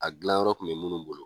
A gilan yɔrɔ kun be minnu bolo